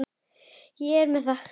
Ég er með það.